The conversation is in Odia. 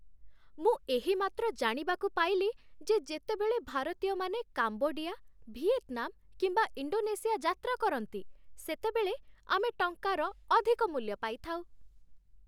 ମୁଁ ଏହିମାତ୍ର ଜାଣିବାକୁ ପାଇଲି ଯେ ଯେତେବେଳେ ଭାରତୀୟମାନେ କାମ୍ବୋଡିଆ, ଭିଏତ୍‌ନାମ୍ କିମ୍ବା ଇଣ୍ଡୋନେସିଆ ଯାତ୍ରା କରନ୍ତି, ସେତେବେଳେ ଆମେ ଟଙ୍କାର ଅଧିକ ମୂଲ୍ୟ ପାଇଥାଉ